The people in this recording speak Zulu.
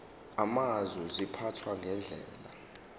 amazwe ziphathwa ngendlela